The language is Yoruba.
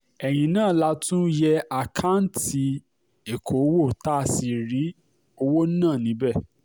lẹ́yìn náà la tún yẹ àkáàǹtì èkó wò tá a sì rí owó náà níbẹ̀